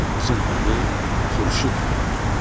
Qızın adı Xurşud xanım idi.